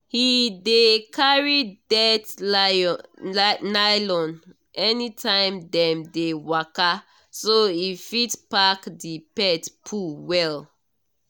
he dey carry dirt nylon anytime dem dey waka so he fit pack the pet poo well.